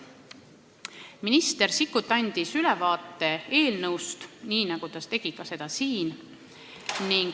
Minister Sikkut andis istungil ülevaate eelnõust, nii nagu ta tegi seda ka siin.